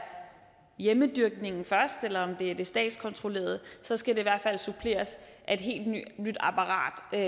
hjemmedyrkningen først eller om det er det statskontrollerede så skal det i hvert fald suppleres af et helt nyt apparat der